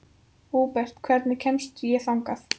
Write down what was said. Húbert, hvernig kemst ég þangað?